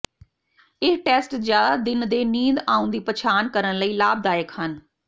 ਇਹ ਟੈਸਟ ਜ਼ਿਆਦਾ ਦਿਨ ਦੇ ਨੀਂਦ ਆਉਣ ਦੀ ਪਛਾਣ ਕਰਨ ਲਈ ਲਾਭਦਾਇਕ ਹਨ